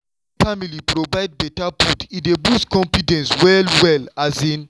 wen family provide better food e dey boost confidence well-well. um